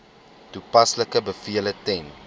toepaslike bevele ten